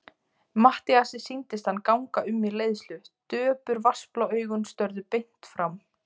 Matthíasi sýndist hann ganga um í leiðslu, döpur, vatnsblá augun störðu beint fram.